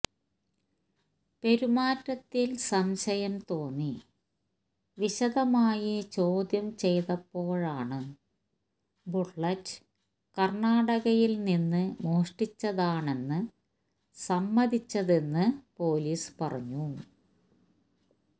പെരുമാറ്റത്തില് സംശയം തോന്നി വിശദമായി ചോദ്യം ചെയ്തപ്പോഴാണ് ബുള്ളറ്റ് കര്ണ്ണാടകയില് നിന്ന് മോഷ്ടിച്ചതാണെന്ന് സമ്മതിച്ചതെന്ന് പൊലീസ് പറഞ്ഞു